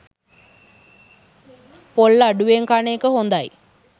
පොල් අඩුවෙන් කන එක හොඳයි.